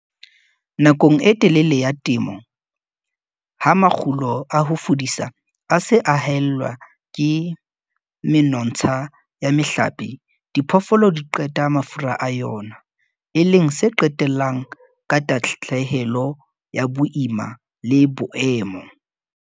Nakong e telele ya komello, ha makgulo a ho fudisa a se a haellwa ke menontsha ya mehlape, diphoofolo di qeta mafura a yona, e leng se qetellang ka tahlehelo ya boima le boemo.